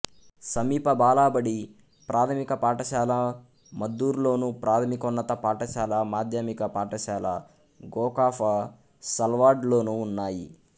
సమీప బాలబడి ప్రాథమిక పాఠశాల మద్దూరులోను ప్రాథమికోన్నత పాఠశాల మాధ్యమిక పాఠశాల గోకాఫసల్వాడ్లోనూ ఉన్నాయి